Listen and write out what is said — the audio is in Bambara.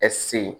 ɛsike